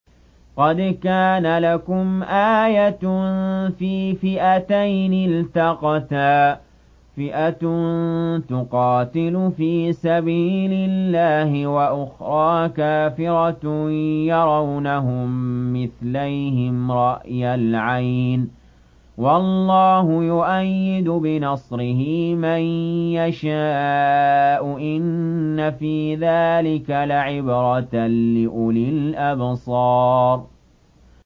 قَدْ كَانَ لَكُمْ آيَةٌ فِي فِئَتَيْنِ الْتَقَتَا ۖ فِئَةٌ تُقَاتِلُ فِي سَبِيلِ اللَّهِ وَأُخْرَىٰ كَافِرَةٌ يَرَوْنَهُم مِّثْلَيْهِمْ رَأْيَ الْعَيْنِ ۚ وَاللَّهُ يُؤَيِّدُ بِنَصْرِهِ مَن يَشَاءُ ۗ إِنَّ فِي ذَٰلِكَ لَعِبْرَةً لِّأُولِي الْأَبْصَارِ